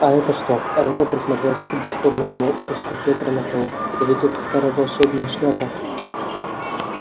а это что реддл присмотрелся к бесформенному куску фетра на полу да ведь это старая волшебная шляпа